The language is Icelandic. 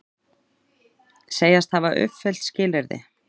Segjast hafa uppfyllt skilyrði